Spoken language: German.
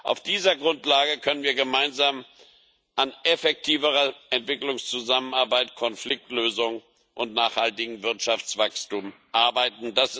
Auf dieser Grundlage können wir gemeinsam an effektiverer Entwicklungszusammenarbeit, Konfliktlösung und nachhaltigem Wirtschaftswachstum arbeiten.